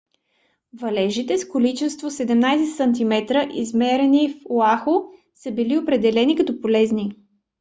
валежите с количество 17 см измерено в оаху са били определени като полезни